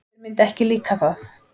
Þér myndi ekki líka það.